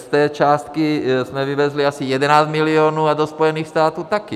Z té částky jsme vyvezli asi 11 milionů a do Spojených států taky.